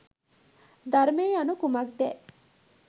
ධර්මය යනු කුමක්දැ